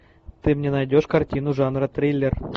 ты мне найдешь картину жанра триллер